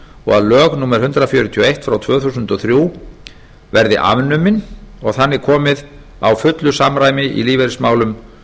og að lög númer hundrað fjörutíu og eitt tvö þúsund og þrjú verði afnumin og þannig komið á fullu samræmi í lífeyrismálum